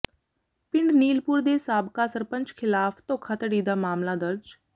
ਪਿੰਡ ਨੀਲਪੁਰ ਦੇ ਸਾਬਕਾ ਸਰਪੰਚ ਿਖ਼ਲਾਫ਼ ਧੋਖਾਧੜੀ ਦਾ ਮਾਮਲਾ ਦਰਜ